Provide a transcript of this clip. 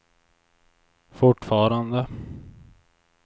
fortfarande